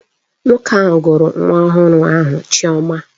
Nwoke ahụ gụrụ nwa ọhụrụ ahụ Chioma